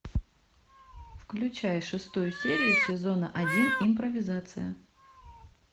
включай шестую серию сезона один импровизация